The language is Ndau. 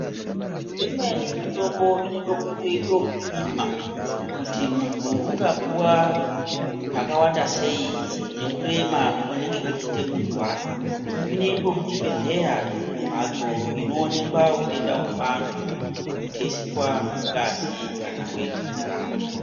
Imweni mitombo inodekuite ekupima, kuti muntu ungapuwa zvakawanda sei nekurema kunenge kuchiite muntu wacho. Zvinoitwe kuchibhedhlera mumhatso inoonekwa hutenda hwevantu nekutesitwa ngazi kana weti dzevantu.